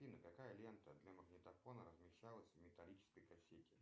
афина какая лента для магнитофона размещалась в металлической кассете